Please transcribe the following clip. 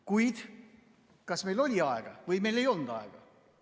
Kuid kas meil oli aega või meil ei olnud aega?